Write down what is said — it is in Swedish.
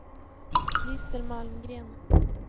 Christer Malmgren